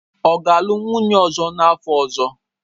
Ọ ga-alụ nwunye ọzọ n'afọ ọzọ.